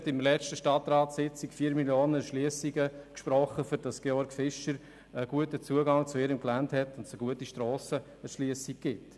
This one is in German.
An der letzten Stadtratssitzung sprachen wir 4 Mio. Franken für Erschliessungen, damit die Georg Fischer AG einen guten Zugang zu ihrem Gelände und gute Strassen dafür zur Verfügung hat.